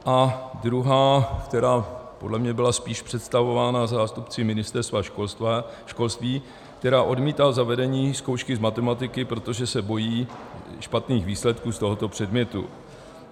A druhá, která podle mě byla spíše představována zástupci Ministerstva školství, která odmítá zavedení zkoušky z matematiky, protože se bojí špatných výsledků z tohoto předmětu.